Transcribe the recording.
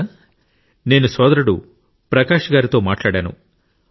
మిత్రులారా నేను సోదరుడు ప్రకాశ్ గారితో మాట్లాడాను